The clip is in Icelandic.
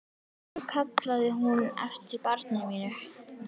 Og nú kallaði hún eftir barni mínu.